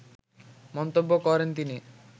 মন্তব্য করেন তিনি